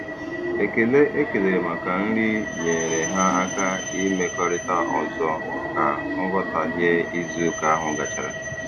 Ekele e kelere maka nri nyeere ha aka imekọrịta ọzọ ka nghọtaghie izuụka ahụ gachara.